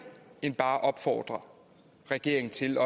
end bare at opfordre regeringen til